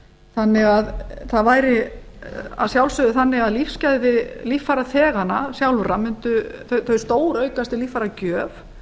þannig að það væri að sjálfsögðu þannig að lífsgæði líffæraþeganna sjálfra stóraukast við líffæragjöf